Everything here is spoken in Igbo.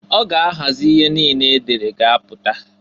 Ọ ga ahazị ihe niine e dere ga-apụta.